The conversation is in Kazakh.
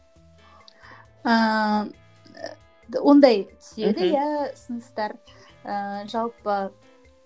ііі ондай түседі иә ұсыныстар ііі жалпы